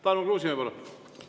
Tarmo Kruusimäe, palun!